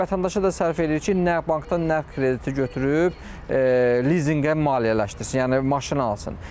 Vətəndaşa da sərf edir ki, nəğd bankdan nəğd krediti götürüb lizinqə maliyyələşdirsin, yəni maşın alsın.